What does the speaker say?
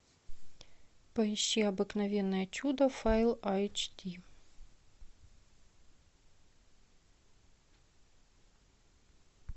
поищи обыкновенное чудо файл айч ди